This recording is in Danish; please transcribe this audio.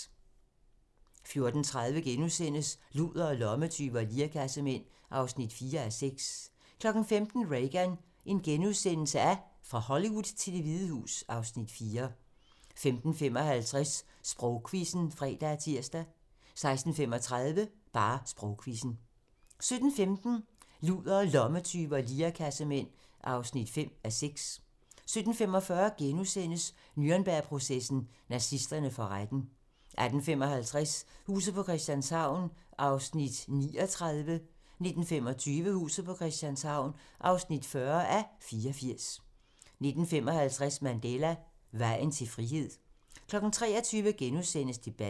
14:30: Ludere, lommetyve og lirekassemænd (4:6)* 15:00: Reagan - fra Hollywood til Det Hvide Hus (Afs. 4)* 15:55: Sprogquizzen (fre og tir) 16:35: Sprogquizzen 17:15: Ludere, lommetyve og lirekassemænd (5:6) 17:45: Nürnbergprocessen: Nazisterne for retten * 18:55: Huset på Christianshavn (39:84) 19:25: Huset på Christianshavn (40:84) 19:55: Mandela: Vejen til frihed 23:00: Debatten *